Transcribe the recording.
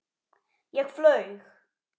Ég flaug.